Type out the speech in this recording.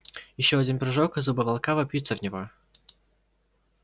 ещё один прыжок и зубы волка вопьются в него